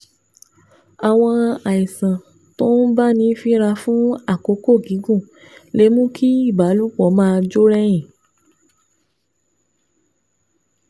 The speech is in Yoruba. Àwọn àìsàn tó ń báni fínra fún àkókò gígùn lè mú kí ìbálòpọ̀ máa jó rẹ̀yìn